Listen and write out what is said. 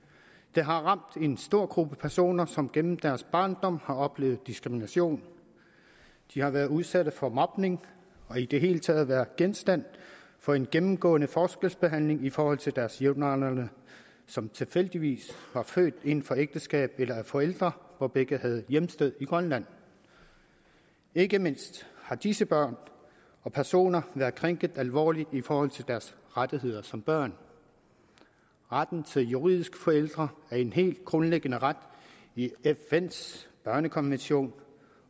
det har ramt en stor gruppe personer som gennem deres barndom har oplevet diskrimination de har været udsat for mobning og i det hele taget været genstand for en gennemgående forskelsbehandling i forhold til deres jævnaldrende som tilfældigvis var født inden for ægteskab eller af forældre hvor begge have hjemsted i grønland ikke mindst har disse børn og personer været krænket alvorligt i forhold til deres rettigheder som børn retten til juridiske forældre er en helt grundlæggende ret i fns børnekonvention